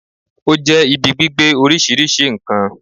Ó jẹ́ ibi gbígbé oríṣìíríṣìí n kan